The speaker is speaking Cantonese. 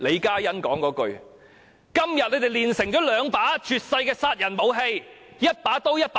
今天他們煉成了兩把絕世殺人武器，一把刀和一把劍。